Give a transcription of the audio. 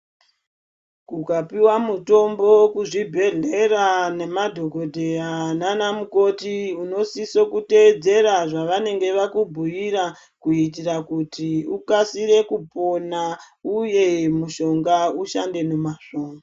Kukapiwa mitombo kuzvibhedhlera nemadhokodheya nana mukoti unosise kuteedzera zvavanenge vakubhuira kuti ukasire kupona uye mushonga ushande nemazvo.